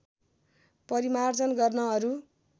परिमार्जन गर्न अरू